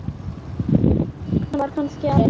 Var þar kannski aldrei?